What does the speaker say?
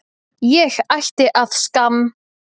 Ég ætti að skamm